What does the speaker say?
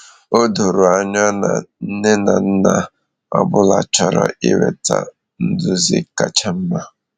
O doro anya na nne na nna ọ bụla chọrọ inweta nduzi kacha mma.